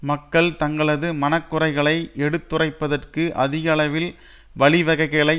மக்கள் தங்களது மனக்குறைகளை எடுத்துரைப்பதற்கு அதிக அளவில் வழிவகைகளை